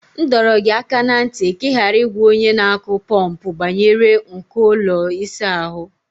M dọrọ gị aka ná ntị ka ị ghara ịgwa onye na-akụ pọmpụ banyere nko ụlọ ịsa ahụ.